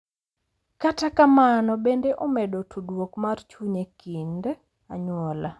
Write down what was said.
Kata kamano, bende omedo tudruok mar chuny e kind anyuola.